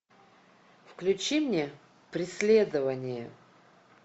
включи мне преследование